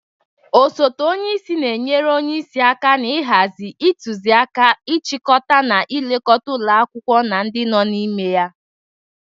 Osote onyeisi na-enyere onyeisi aka na-ịhazị, ịtụzị aka, ịchịkọta na ilekọta ụlọ akwụkwọ na ndị nọ ya n'ime.